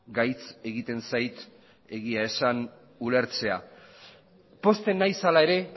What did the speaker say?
gaitz egiten zait egia esan ulertzea pozten nahiz hala ere